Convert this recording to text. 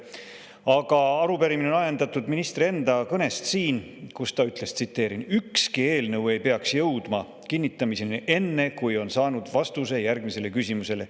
Aga arupärimine on ajendatud ministri enda kõnest siin, kus ta ütles: "Ükski eelnõu ei peaks jõudma kinnitamiseni enne, kui on saadud vastus järgmistele küsimustele.